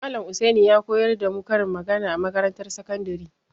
Malam Husaini ya koyar da mu karin magana a makarantar sakandare.